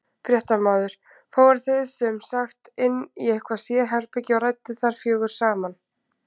Fréttamaður: Fóruð þið sem sagt inn í eitthvað sérherbergi og rædduð þar fjögur saman?